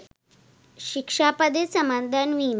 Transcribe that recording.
ශික්‍ෂා පදය සමාදන් වෙමි.